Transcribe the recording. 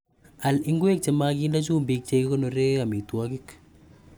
Al ngweek chemaginde chumbiik chegikonoree amitwogik.